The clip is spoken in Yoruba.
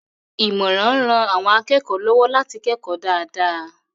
Ìmọ̀ràn ń ran àwọn akẹ́kọ̀ọ́ lọ́wọ́ láti kẹ́kọ̀ọ́ dáadáa.